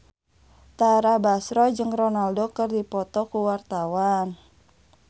Tara Basro jeung Ronaldo keur dipoto ku wartawan